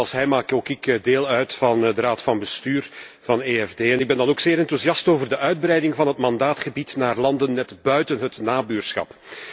Net als hij, maak ook ik deel uit van de raad van bestuur van het EFD. Ik ben dan ook zeer enthousiast over de uitbreiding van het mandaatgebied naar landen net buiten het nabuurschap.